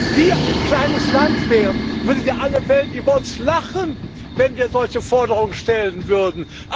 Wenn wir ein kleines Land wären, würde alle Welt über uns lachen, wenn wir solche Forderungen stellen würden.